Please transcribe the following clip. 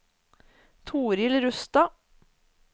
Torild Rustad